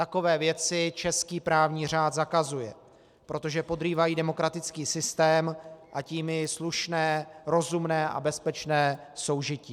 Takové věci český právní řád zakazuje, protože podrývají demokratický systém, a tím i slušné, rozumné a bezpečné soužití.